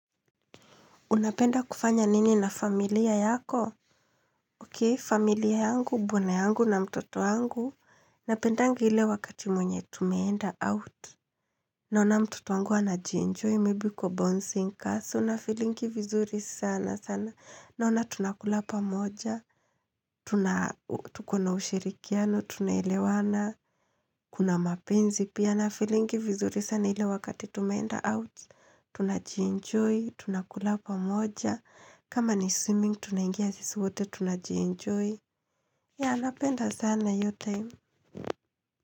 Unapenda kufanya nini na familia yako? Okey, familia yangu, bwana yangu na mtoto yangu. Napendanga ile wakati mwenye tumenda out. Naona mtoto wangu anajienjoy, maybe kwa bouncing castle. Nafeelingi vizuri sana sana. Naona tunakula pamoja. Tuko na ushirikiano, tunaelewana. Kuna mapenzi pia. Nafeelingi vizuri sana ile wakati tumenda out. Tunajienjoy, tunakula pamoja. Kama ni swimming tunangia sisi wote tunajienjoy. Yeah napenda sana hio time.